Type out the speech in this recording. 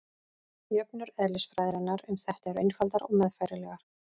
jöfnur eðlisfræðinnar um þetta eru einfaldar og meðfærilegar